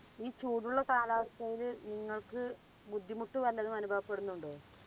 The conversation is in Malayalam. ഈ ചൂടുള്ള കാലാവസ്ഥായില് നിങ്ങൾക് ബുദ്ധിമുട്ട് വല്ലതും അനുഭവപ്പെടുന്നുണ്ടോ?